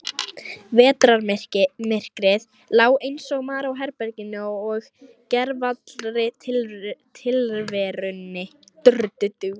Vetrarmyrkrið lá einsog mara á herberginu og gervallri tilverunni.